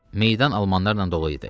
Meydan almanlarla dolu idi.